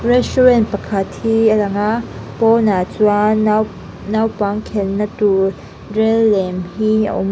restaurant pakhat hi a lang a pawnah chuan nau naupang khelhna tur rel lem hi a awm a.